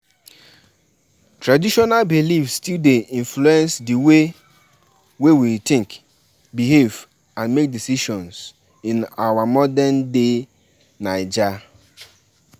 why dis man dey allow make im woman dey work for bank, who go go dey look house.